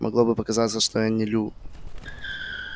могло бы показаться что я не лю